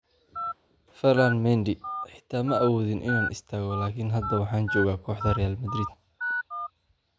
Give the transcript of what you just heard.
Ferland Mendy: "Xitaa ma awoodin inaan istaago, laakiin hadda waxaan joogaa kooxda Real Madrid"